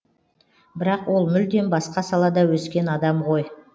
бірақ ол мүлдем басқа салада өскен адам ғой